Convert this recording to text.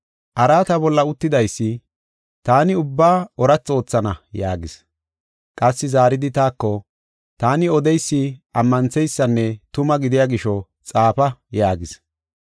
Araata bolla uttidaysi, “Taani ubbaa oorathi oothana” yaagis. Qassi zaaridi taako, “Taani odeysi ammantheysanne tuma gidiya gisho xaafa” yaagis.